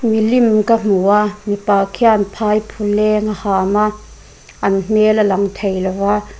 milim ka hmu a mipa khian phaiphuleng a hâm a an hmêl a lang thei lo va.